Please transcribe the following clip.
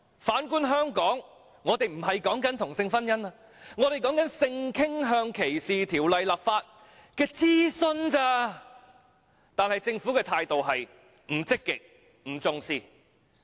反觀香港，我們並非爭取同性婚姻，而是性傾向歧視條例的諮詢而已，但政府的態度是不積極及不重視。